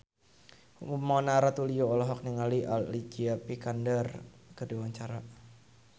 Mona Ratuliu olohok ningali Alicia Vikander keur diwawancara